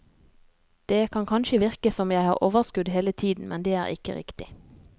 Det kan kanskje virke som jeg har overskudd hele tiden, men det er ikke riktig.